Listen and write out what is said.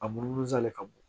A munumunu salen ka bon